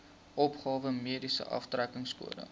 opgawe mediese aftrekkingskode